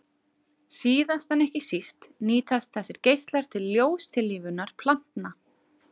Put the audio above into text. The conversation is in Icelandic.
Síðast en ekki síst nýtast þessir geislar til ljóstillífunar plantna.